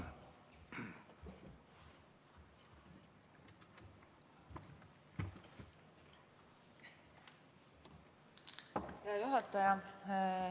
Hea juhataja!